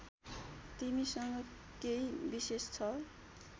तिमीसँग केही विशेष छ